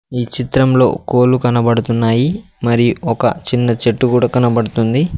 ఈ చిత్రంలో కోలు కనబడుతున్నాయి మరియు ఒక చిన్న చెట్టు కూడా కనబడుతుంది.